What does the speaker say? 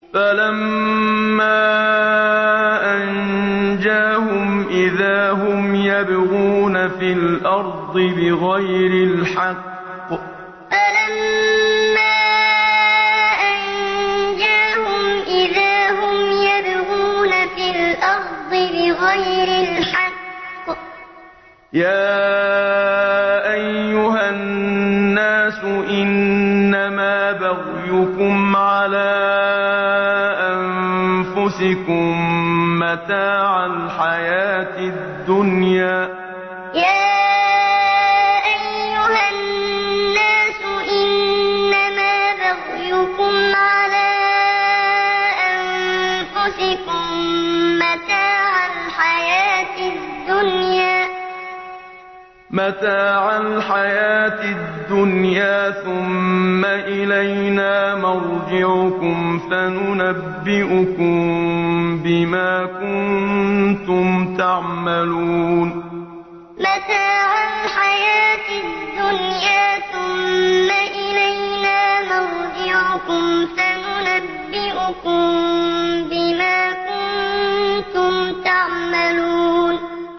فَلَمَّا أَنجَاهُمْ إِذَا هُمْ يَبْغُونَ فِي الْأَرْضِ بِغَيْرِ الْحَقِّ ۗ يَا أَيُّهَا النَّاسُ إِنَّمَا بَغْيُكُمْ عَلَىٰ أَنفُسِكُم ۖ مَّتَاعَ الْحَيَاةِ الدُّنْيَا ۖ ثُمَّ إِلَيْنَا مَرْجِعُكُمْ فَنُنَبِّئُكُم بِمَا كُنتُمْ تَعْمَلُونَ فَلَمَّا أَنجَاهُمْ إِذَا هُمْ يَبْغُونَ فِي الْأَرْضِ بِغَيْرِ الْحَقِّ ۗ يَا أَيُّهَا النَّاسُ إِنَّمَا بَغْيُكُمْ عَلَىٰ أَنفُسِكُم ۖ مَّتَاعَ الْحَيَاةِ الدُّنْيَا ۖ ثُمَّ إِلَيْنَا مَرْجِعُكُمْ فَنُنَبِّئُكُم بِمَا كُنتُمْ تَعْمَلُونَ